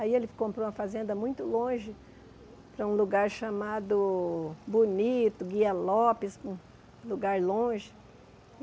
Aí ele fi comprou uma fazenda muito longe, para um lugar chamado Bonito, Guia Lopes, um lugar longe.